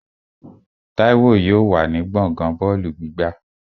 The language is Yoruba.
Táíwò yóò wà ní gbọ̀ngán bọ́ọ̀lù gbígbá